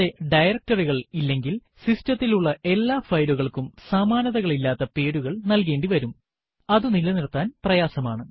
കൂടാതെ directory കൾ ഇല്ലെങ്കിൽ സിസ്റ്റത്തിൽ ഉള്ള എല്ലാ ഫയലുകൾക്കും സമാനതകളില്ലാത്ത പേരുകൾ നൽകേണ്ടിവരും അതു നിലനിർത്താൻ പ്രയാസമാണ്